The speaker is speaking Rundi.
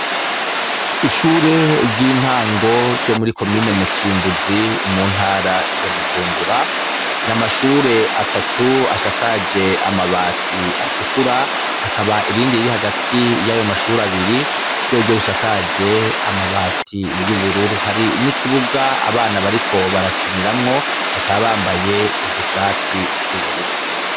Ishure ry'intango ryo muri komine mutimbuzi mu ntara ya bujumbura, n,amashure atatu ashakaje amabati atukura hakaba irindi riri hagati y'ayo mashuri abiri ryoryo rishakaje amabati y'ubururu, hari n'ikibuga abana bariko barakiniramwo bakaba bambaye udushati tw'ubururu.